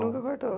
Nunca cortou?